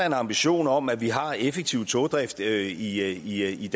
en ambition om at vi har effektiv togdrift i